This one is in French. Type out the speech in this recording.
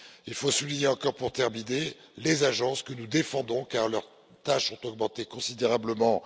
Il faut souligner encore, pour terminer, les agences que nous défendons, car leurs tâches ont augmenté considérablement.